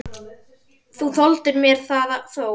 Þú þoldir mér það þó.